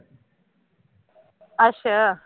ਅੱਛਾ